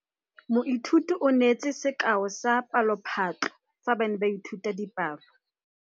Lefapha la Thuto le agile sekôlô se se pôtlana fa thoko ga tsela.